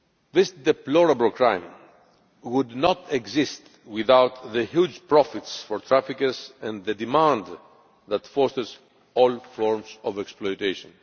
This deplorable crime would not exist without the huge profits for traffickers and the demand that drives all forms of exploitation.